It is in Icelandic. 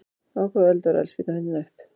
Á hvaða öld var eldspýtan fundin upp?